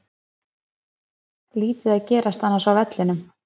Lítið að gerast annars á vellinum.